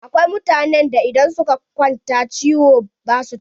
Akwai mutanen da idan suka kwanta ciwo ba su tashi.